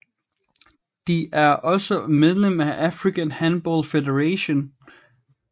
De er også medlem af African Handball Federation